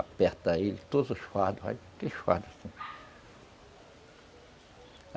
Aperta ele, todos os fardos, aqueles fardos assim.